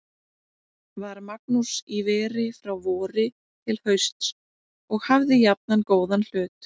Var Magnús í veri frá vori til hausts og hafði jafnan góðan hlut.